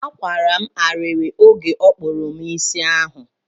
Akwara ariri oge ọ kpụrụ m isi ahụ.